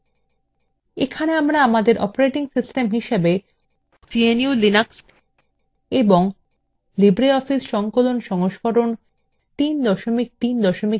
এখানে আমরা আমাদের operating system হিসেবে gnu/linux এবং libreoffice সংকলন সংস্করণ 334 ব্যবহার করছি